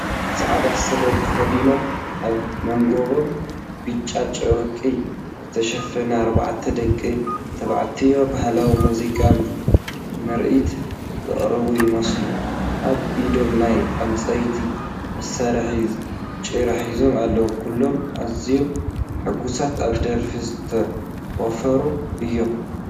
ጻዕዳ ስረ ተኸዲኖምን ኣብ መንኵቦም ብጫ ጨርቂ ዝተሸፈነን ኣርባዕተ ደቂ ተባዕትዮ፡ ባህላዊ ሙዚቃዊ ምርኢት ዘቕርቡ ይመስሉ። ኣብ ኢዶም ናይ ዕንጨይቲ መሳርሒ ጭራ ሒዞም ኣለዉ። ኩሎም ኣዝዮም ሕጉሳትን ኣብ ደርፊ ዝተዋፈሩን እዮም።